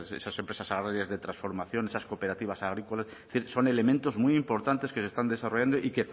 esas empresas agrarias de transformación esas cooperativas agrícolas es decir son elementos muy importantes que se están desarrollando